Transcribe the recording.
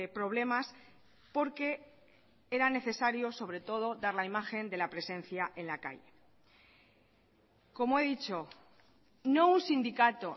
problemas porque era necesario sobretodo dar la imagen de la presencia en la calle como he dicho no un sindicato